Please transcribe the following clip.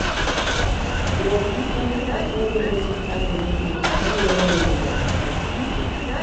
Wuoth konyo pachwa bedo gi paro mokuwe kendo miyo wayud mor.